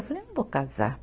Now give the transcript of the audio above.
Eu falei, eu não vou casar.